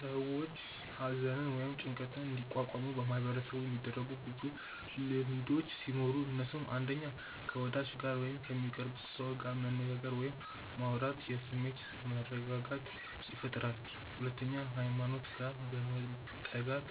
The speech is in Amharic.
ሰዎች ሃዘንን ወይም ጭንቀትን እንዲቋቋሙ በማህበረሰቡ የሚደረጉ ብዙ ልምዶቹ ሲኖሩ እነሱም፣ 1. ከ ወዳጅ ጋር ወይም ከሚቀርቡት ሰው ጋር መነጋገር ወይም ማውራት የስሜት መረጋጋትን ይፈጥራል 2. ሃይማኖት ጋር መጠጋት፦